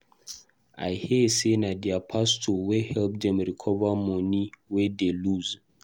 I hear say na their pastor wey help dem recover money wey dey lose.